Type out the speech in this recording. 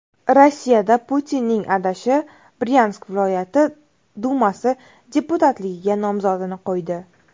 Rossiyada Putinning adashi Bryansk viloyat dumasi deputatligiga nomzodini qo‘ydi.